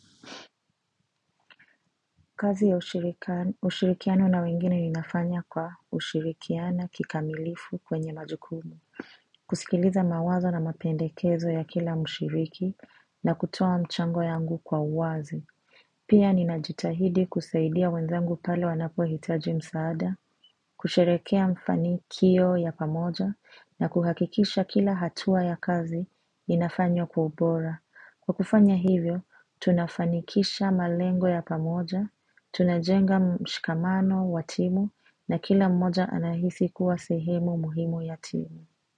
Kazi ya ushirika ushirikiano na wengine inafanya kwa ushirikiana kikamilifu kwenye majukumu. Kusikiliza mawazo na mapendekezo ya kila mshiriki na kutoa mchango yangu kwa uwazi. Pia ninajitahidi kusaidia wenzangu pale wanapo hitaji msaada, kusherekea mfani kio ya pamoja na kuhakikisha kila hatua ya kazi inafanywa kwa ubora. Kwa kufanya hivyo, tunafanikisha malengo ya pamoja, tunajenga mshikamano wa timu na kila mmoja anahisi kuwa sehemu muhimu ya timu.